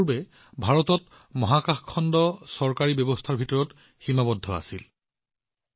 বন্ধুসকল উন্নত ভাৰতৰ সংকল্পৰ সৈতে আগবাঢ়ি আমাৰ দেশখনে কেৱল ঐক্যৱদ্ধ প্ৰচেষ্টাৰেহে ইয়াৰ লক্ষ্যত উপনীত হব পাৰে